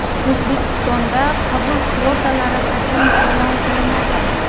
O‘zbekistonda qabul kvotalari qachon e’lon qilinadi?.